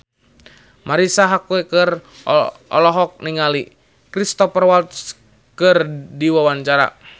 Marisa Haque olohok ningali Cristhoper Waltz keur diwawancara